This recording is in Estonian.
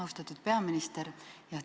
Austatud peaminister!